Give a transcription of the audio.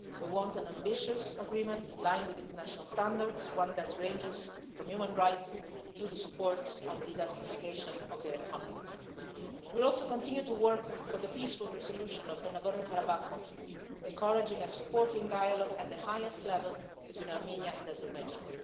We want an ambitious agreement in line with international standards, one that ranges from human rights to the support of the diversification of their economy. We will also continue to work for the peaceful resolution of the Nagorno Karabakh conflict, encouraging and supporting dialogue at the highest level between Armenia and Azerbaijan.